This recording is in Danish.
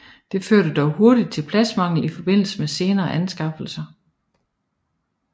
Det førte dog hurtigt til pladsmangel i forbindelse med senere anskaffelser